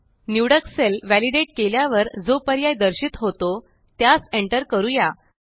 निवडक cell validate केल्यावर जो पर्याय दर्शित होतो त्यास एंटर करूया